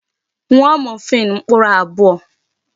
Ṅụọ morphine mkpụrụ abụọ!